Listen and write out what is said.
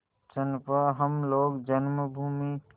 चंपा हम लोग जन्मभूमि